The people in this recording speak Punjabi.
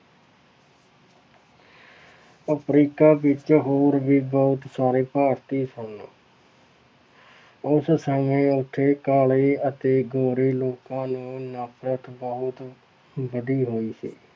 ਅਫ਼ਰੀਕਾ ਵਿੱਚ ਹੋ ਰਹੇ ਬਹੁਤ ਸਾਰੇ ਭਾਰਤੀ ਸਨ ਉਸ ਸਮੇਂ ਉੱਥੇ ਕਾਲੇ ਅਤੇ ਗੋਰੇ ਲੋਕਾਂ ਨੂੰ ਨਫ਼ਰਤ ਬਹੁਤ ਵਧੀ ਹੋਈ ਸੀ।